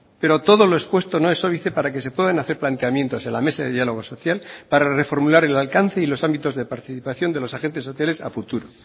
pero todo lo expuesto no es óbice para que se puedan hacer planteamientos en la mesa de diálogo social para reformular el alcance y los ámbitos de participación de los agentes sociales a futuro